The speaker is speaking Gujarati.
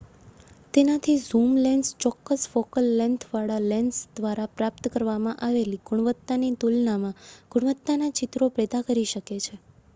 તેનાથી ઝૂમ લેન્સ ચોક્કસ ફોકલ લેન્થ વાળા લેન્સ દ્વારા પ્રાપ્ત કરવામાં આવેલી ગુણવત્તાની તુલનામાં ગુણવત્તાના ચિત્રો પેદા કરી શકે છે